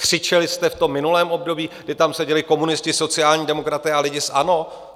Křičeli jste v tom minulém období, kdy tam seděli komunisté, sociální demokraté a lidé z ANO?